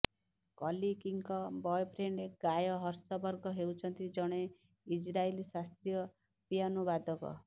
କଲକିଙ୍କ boyfriend Guy Hershberg ହେଉଛନ୍ତି ଜଣେ Israeli ଶାସ୍ତ୍ରୀୟ ପିଆନୋବାଦକ